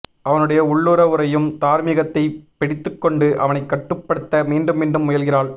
அவனுடைய உள்ளூர உறையும் தார்மீகத்தை பிடித்துக்கொண்டு அவனை கட்டுப்படுத்த மீண்டும் மீண்டும் முயல்கிறாள்